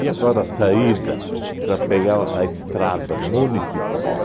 agora a saída para pegar o a estrada municipal?